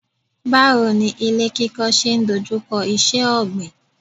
Báwo ni ilé kíkọ́ ṣe ń dojú kọ iṣẹ́ ọ̀gbìn.